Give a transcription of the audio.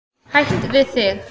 Hætt við þig.